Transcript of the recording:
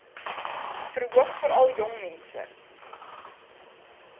verhoog veral jongmense